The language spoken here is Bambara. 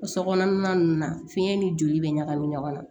Sokɔnɔna nunnu na fiɲɛ ni joli bɛ ɲagami ɲɔgɔn na